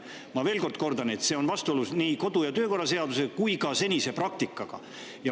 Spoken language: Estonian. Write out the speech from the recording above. Ma kordan veel, et see on vastuolus nii kodu- ja töökorra seaduse kui ka senise praktikaga.